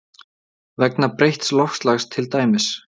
Vegna breytts loftslags til dæmis?